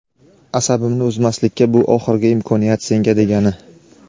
asabimni buzmaslikka bu oxirgi imkoniyat senga degani..